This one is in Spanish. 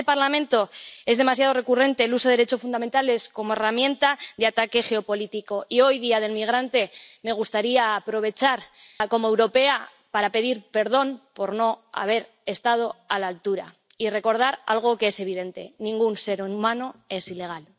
En este Parlamento es demasiado recurrente el uso de los derechos fundamentales como herramienta de ataque geopolítico y hoy, Día Internacional del Migrante, me gustaría aprovechar, como europea, para pedir perdón por no haber estado a la altura y recordar algo que es evidente ningún ser humano es ilegal.